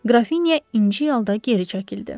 Qrafinya inciyərək geri çəkildi.